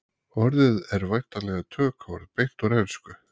Orðið er væntanlega tökuorð beint úr ensku.